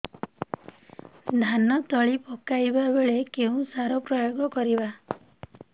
ଧାନ ତଳି ପକାଇବା ବେଳେ କେଉଁ ସାର ପ୍ରୟୋଗ କରିବା